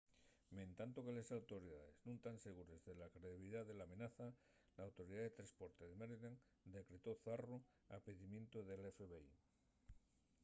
mentanto que les autoridaes nun tán segures de la credibilidá de l’amenaza l’autoridá de tresporte de maryland decretó’l zarru a pidimientu del fbi